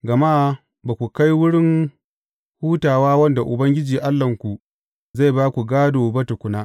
Gama ba ku kai wurin hutawa wanda Ubangiji Allahnku zai ba ku gādo ba tukuna.